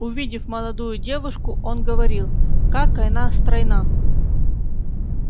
увидев молодую девушку он говорил как она стройна